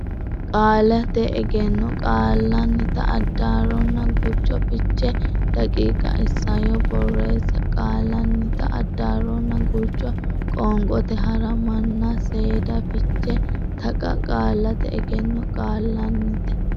Qaallate Egenno Qaallannita Addaarronna Gurcho Fiche daqiiqa Isayyo Barreessa Qaallannita Addaarronna Gurcho Qoonqote Hara manna Seeda Fiche Taqa Qaallate Egenno Qaallannita.